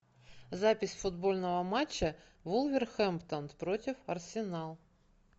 запись футбольного матча вулверхэмптон против арсенал